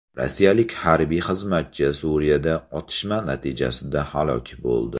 Rossiyalik harbiy xizmatchi Suriyada otishma natijasida halok bo‘ldi.